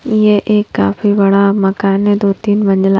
यह एक काफी बड़ा मकान है दो-तीन मंजिला।